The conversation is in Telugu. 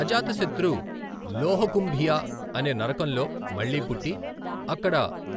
అజాతశత్రు 'లోహకుంభియా' అనే నరకంలో మళ్ళీ పుట్టి, అక్కడ